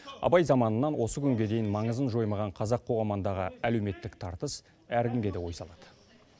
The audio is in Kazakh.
абай заманынан осы күнге дейін маңызын жоймаған қазақ қоғамындағы әлеуметтік тартыс әркімге де ой салады